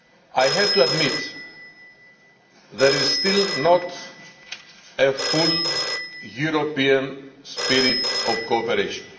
I have to admit there is still not a full European spirit of cooperation.